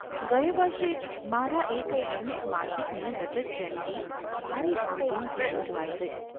ગયે વર્ષે જ મારા એક ધાર્મિક માસિકની રજતજયંતિ ભારે ધામધૂમથી ઉજવાઈ ગઈ.